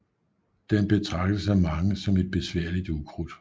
Den betragtes af mange som et besværligt ukrudt